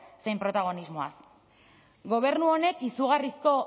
zein protagonismoaz gobernu honek izugarrizko